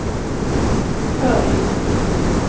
följd